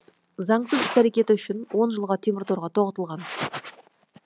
заңсыз іс әрекеті үшін он жылға темір торға тоғытылған